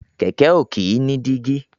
Kẹ̀kẹ́ ò kìí ní dígí.